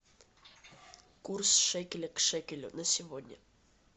курс шекеля к шекелю на сегодня